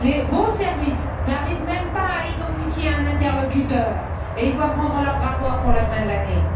Vos services n'arrivent même pas à identifier un interlocuteur et ils doivent rendre leur rapport pour la fin de l'année.